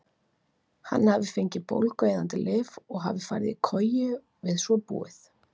Hann hafi fengið bólgueyðandi lyf og hafi farið í koju við svo búið.